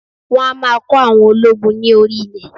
Wọn a maa kọ́ àwọn ológun ni orí ilẹ̀